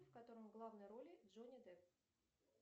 в котором в главной роли джонни депп